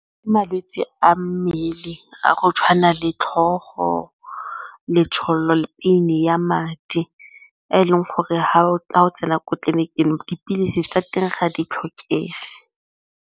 Ke malwetse a mmele a go tshwana le tlhogo, letshololo le ya madi e e leng gore ga o tsena ko tleliniking dipilisi tsa teng ga di tlhokege.